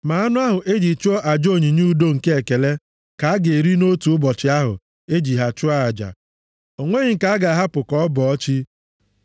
Ma anụ ahụ eji chụọ aja onyinye udo nke ekele, ka a ga-eri nʼotu ụbọchị ahụ e ji ha chụọ aja. O nweghị nke a ga-ahapụ ka ọ bọọ chi.